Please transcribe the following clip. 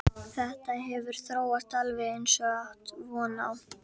Þetta hefur þróast alveg eins og átti von á.